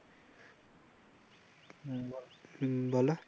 হম বল।